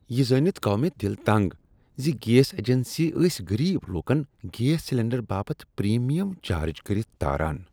یہ زٲنتھ گوٚو مےٚ دل تنٛگ ز گیس اجنسی ٲس غریب لوٗکن گیس سلینڈر باپت پریمیم چارج کٔرتھ تاران۔